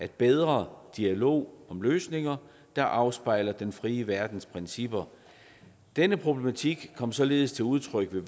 bedre dialog om løsninger der afspejler den frie verdens principper denne problematik kom således til udtryk ved